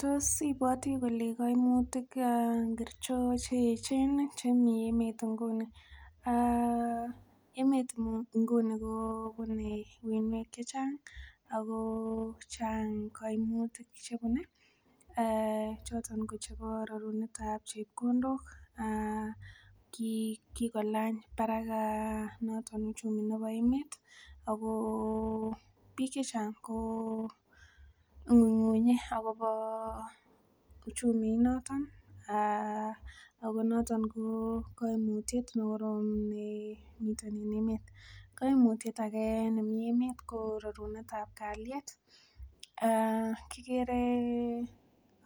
Tos ibwati kole kaimutik ngiricho cheechen chemi emet nguni? um emet nguni kobune uinwek chechang ako chang koimutik chebune choton kochebo rorunetab chepkondok, kikolany barak noton uchumi nebo emet ako biik chechang ko ng'uing'unye akobo uchumi inoton ako noton ko koimutyet nekorom noton en emet. Koimutyet ake nemii emet ko rorunetab kalyet, kikere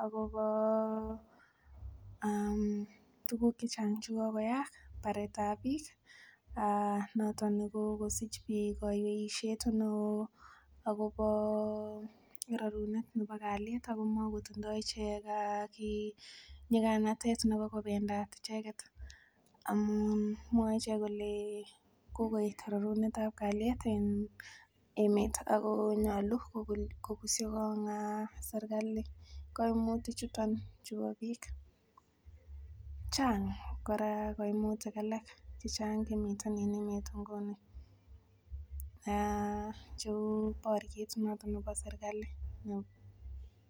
akobo tuguk chechang chekokoyaak, baretab biik noton nekokosich biik koiweisiet neoo akobo rorunet nebo kalyet ako makotindoo chii nyiganatet nebo kobendat icheket amun mwor ichek kole kokoet rorunetab kalyet en emet ako nyolu kokusyi kong serkali koimutik chuton chubo biik. Chang kora koimutik alak chemiten en emet nguni cheu boriet noton nebo serkali